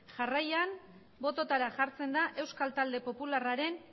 jarraian bototara jartzen da euskal talde popularraren